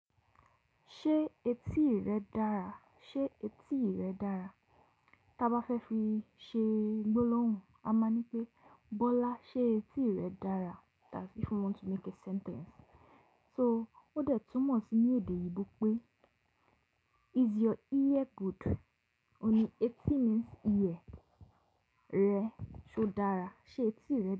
Ṣé etí rẹ dára? Sé etí rẹ dára? Ta bá fẹ́ fi ṣe gbólóhùn, a máa ní pé Bọ́lá, ṣé etí rẹ dára? That's if you want to make a sentence. So ó dẹ̀ túmọ̀ sí ní èdè òyìnbó pé is your ear good? Òní etí means ear rẹ, ṣe ó dára? Ṣé etí rẹ?